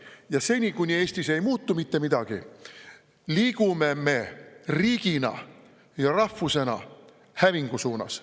Ja seni, kuni Eestis ei muutu mitte midagi, liigume me riigina ja rahvusena hävingu suunas.